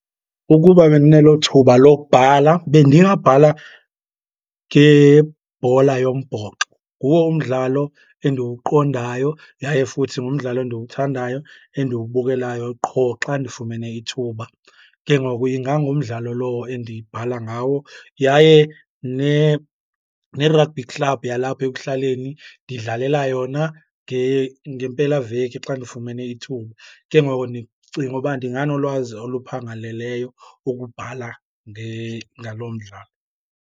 Ukuba bendinelo thuba lobhala bendingabhala ngebhola yombhoxo. Nguwo umdlalo endiwuqondayo, yaye futhi ngumdlalo endiwuthandayo, endiwubukelayo qho xa ndifumene ithuba. Ke ngoku ingangumdlalo lowo endibhala ngawo. Yaye ne-rugby club yalapha ekuhlaleni ndidlalela yona ngempelaveki xa ndifumene ithuba. Ke ngoku ndicinga uba ndinganolwazi oluphangaleleyo ukubhala ngaloo mdlalo.